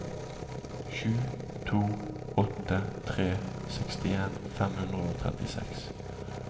sju to åtte tre sekstien fem hundre og trettiseks